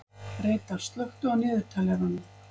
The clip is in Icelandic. Reidar, slökktu á niðurteljaranum.